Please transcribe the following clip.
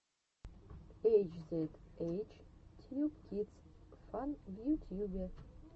эйч зед эйч тьюб кидс фан в ютьюбе